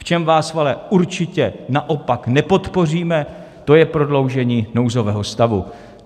V čem vás ale určitě naopak nepodpoříme, to je prodloužení nouzového stavu.